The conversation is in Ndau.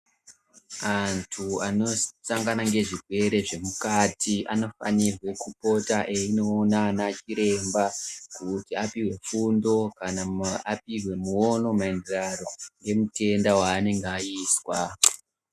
Antu anosangana ngezvirwere zvemukati anofanirwe kupota einoona anachiremba kuti apihwe fundo kana apihwe muono maererano ngemutenda waanenge aizwa.